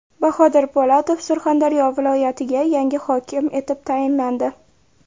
Bahodir Po‘latov Surxondaryo viloyatiga yangi hokim etib tayinlandi.